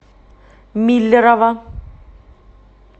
миллерово